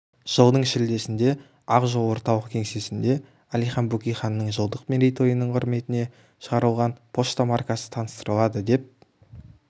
жылдың шілдесінде ақ жол орталық кеңсесінде әлихан бөкейханның жылдық мерейтойының құрметіне шығарылған пошта маркасы таныстырылады деп